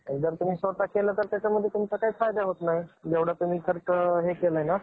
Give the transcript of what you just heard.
त्यांची पाच-सहा दिवस रोज पूजा करून, दुर्वा गाळून त्यांची रोज आरती केली जाते. नागपंचमी, महाराष्ट्राच्या मध्ये विविध सण,